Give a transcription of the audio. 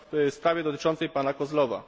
w sprawie dotyczącej pana Kozłowa.